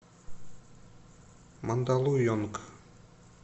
мандалуйонг